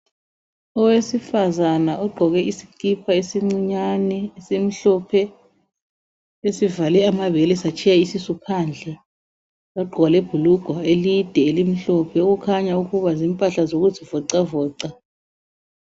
Owesifazana ogqoke isikipa esincinyane esimhlophe, esivale amabele satshiya isisu phandle, wagqoka lebhulugwe elide elimhlophe okukhanya ukuba zimpahla zokuzivoxa voxa.